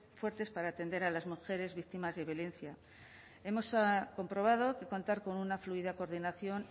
fuertes para atender a las mujeres víctimas de violencia hemos comprobado que contar con una fluida coordinación